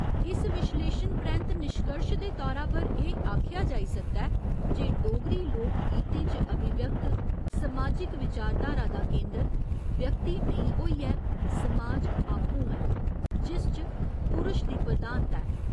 इस विश्लेशन परैंत्त निश्कर्श दे तौरा पर एह् आखेआ जाई सकदा ऐ जे डोगरी लोक गीतें च अभिव्यक्त समाजिक विचारधारा दा केंदर व्यक्ति नेईं होइयै समाज आपूं ऐ, जिस च पुरश दी प्रधानता ऐ।